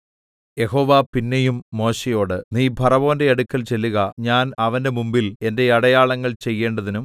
യഹോവ പിന്നെയും മോശെയോട് നീ ഫറവോന്റെ അടുക്കൽ ചെല്ലുക ഞാൻ അവന്റെ മുമ്പിൽ എന്റെ അടയാളങ്ങൾ ചെയ്യേണ്ടതിനും